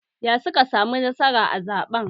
Ya suka samu nasara a zaɓen?